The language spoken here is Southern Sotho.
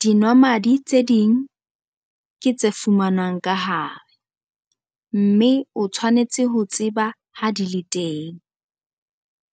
Dinwamadi tse ding ke tse fumanwang ka hare, mme o tshwanetse ho tseba ha di le teng,